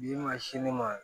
N'i ma sin di ne ma